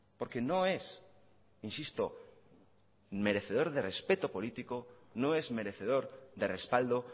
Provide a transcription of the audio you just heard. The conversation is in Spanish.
porque no es insisto merecedor de respeto político no es merecedor de respaldo